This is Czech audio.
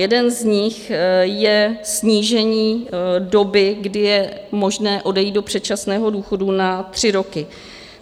Jeden z nich je snížení doby, kdy je možné odejít do předčasného důchodu, na tři roky.